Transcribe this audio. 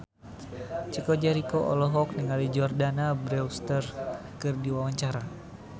Chico Jericho olohok ningali Jordana Brewster keur diwawancara